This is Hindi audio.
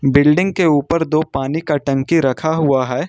बिल्डिंग के ऊपर दो पानी का टंकी रखा हुआ है।